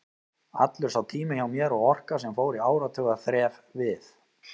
Allur sá tími hjá mér og orka, sem fór í áratuga þref við